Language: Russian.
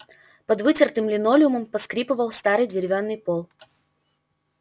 под вытертым линолеумом поскрипывал старый деревянный пол